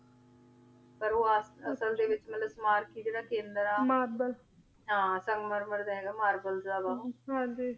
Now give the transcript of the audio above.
ਪੀਰ ਊ ਅਸਲ ਦੇ ਵਿਚ ਮਤਲਬ ਜੇਰਾ ਮਾਰਕ ਮਾਰ੍ਲ੍ਬੇਲ ਹਨ ਸੰਗ ਮਾਰ ਮਾਰ ਦਾ ਹੇਗਾ marble ਦਾ ਹੇਗਾ ਊ ਹਾਂਜੀ